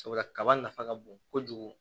Sabula kaba nafa ka bon kojugu